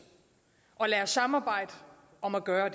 lad os samarbejde om at gøre